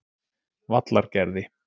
Vallargerði